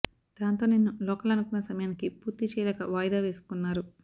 దాంతో నేను లోకల్ అనుకున్న సమయానికి పూర్తి చేయలేక వాయిదా వేసుకున్నారు